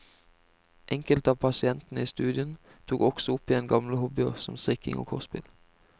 Enkelte av pasientene i studien tok også opp igjen gamle hobbyer som strikking og kortspill.